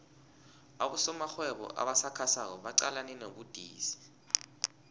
abosomarhwebo abasakhasako baqalene nobudisi